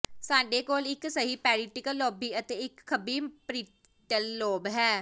ਸਾਡੇ ਕੋਲ ਇਕ ਸਹੀ ਪੈਰੀਟਲ ਲਾਬੀ ਅਤੇ ਇਕ ਖੱਬੀ ਪਰੀਟੀਲ ਲੋਬ ਹੈ